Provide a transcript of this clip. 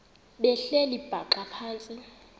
behleli bhaxa phantsi